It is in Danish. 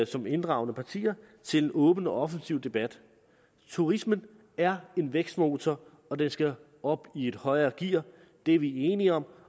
som inddragende partier til en åben og offensiv debat turismen er en vækstmotor og den skal op i et højere gear det er vi enige om